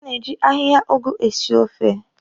A na-eji ahịhịa ụgụ esi ofe.